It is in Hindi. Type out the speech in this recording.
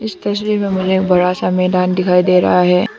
इस तस्वीर में मुझे एक बड़ा सा मैदान दिखाई दे रहा है।